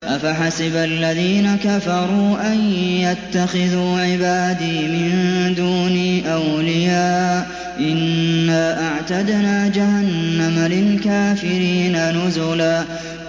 أَفَحَسِبَ الَّذِينَ كَفَرُوا أَن يَتَّخِذُوا عِبَادِي مِن دُونِي أَوْلِيَاءَ ۚ إِنَّا أَعْتَدْنَا جَهَنَّمَ لِلْكَافِرِينَ نُزُلًا